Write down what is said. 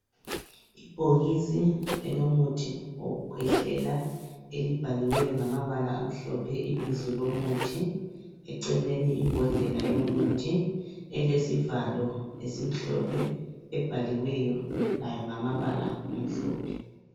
Ibhokisi elomuthi wokukhwehlela elibhaliweyo ngamabala amhlophe ibizo lomuthi eceleni imbodlela yomuthi elesivalo esimhlophe ebhaliweyo layo ngama bala amhlophe.